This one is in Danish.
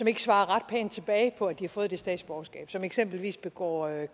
ikke svarer ret pænt tilbage på at de har fået det statsborgerskab og som eksempelvis begår